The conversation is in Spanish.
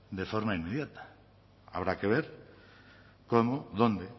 de forma inmediata habrá que ver cómo dónde